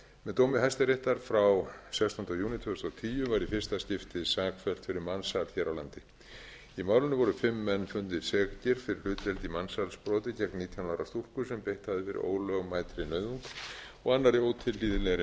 með dómi hæstaréttar frá sextánda júní tvö þúsund og tíu var í fyrsta skipti sakfellt fyrir mansal hér á landi í málinu voru fimm menn fundnir sekir fyrir hlutdeild í mansalsbroti gegn nítján ára stúlku sem beitt hafði verið ólögmætri nauðung og annarri ótilhlýðilegri meðferð í